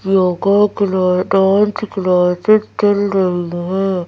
Yoga class dance classes चल रही हैं।